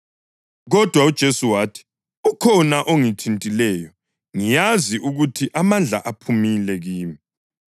Kodwa uJesu wathi, “Ukhona ongithintileyo; ngiyazi ukuthi amandla aphumile kimi.”